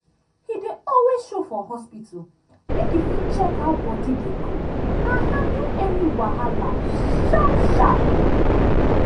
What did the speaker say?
he dey always show for hospital make e fit check how body dey go and handle any wahala sharp sharp.